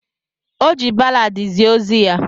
O ji balladi zie ozi ya.